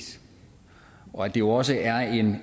og at det også er